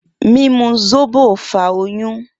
Mimu zobo fa oyun.